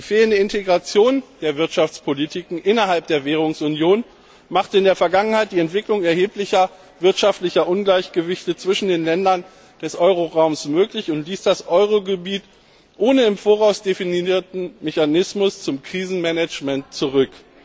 Die fehlende Integration der Wirtschaftspolitiken innerhalb der Währungsunion machte in der Vergangenheit erhebliche wirtschaftliche Ungleichgewichte zwischen den Ländern des Euro Raumes möglich und ließ das Euro Gebiet ohne den im Voraus definierten Mechanismus zum Krisenmanagement zurück.